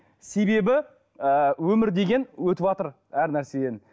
себебі ы өмір деген өтіватыр әр нәрседен